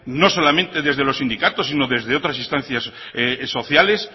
no solamente desde los sindicatos sino desde otras instancias sociales